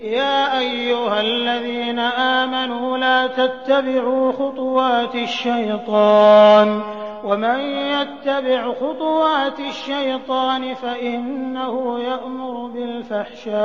۞ يَا أَيُّهَا الَّذِينَ آمَنُوا لَا تَتَّبِعُوا خُطُوَاتِ الشَّيْطَانِ ۚ وَمَن يَتَّبِعْ خُطُوَاتِ الشَّيْطَانِ فَإِنَّهُ يَأْمُرُ بِالْفَحْشَاءِ